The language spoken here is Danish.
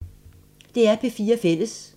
DR P4 Fælles